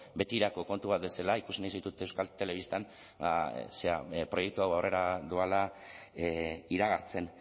betirako kontu bat bezala ikusi nahi zaitut euskal telebistan proiektu hau aurrera doala iragartzen